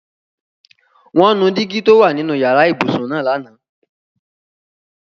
Wọn nù dígi tó o wà nínu yara-íbusun naá lana.